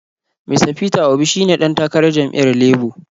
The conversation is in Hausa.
Mista Peter Obi shi ne ɗan takarar jam’iyyar Labo.